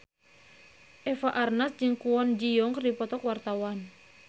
Eva Arnaz jeung Kwon Ji Yong keur dipoto ku wartawan